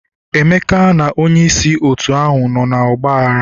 Emeka na onye isi otu ahụ nọ n'ọgba aghara.